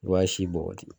I b'a si bɔgɔti